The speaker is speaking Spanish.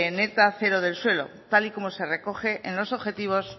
neta cero del suelo tal y como se recoge en los objetivos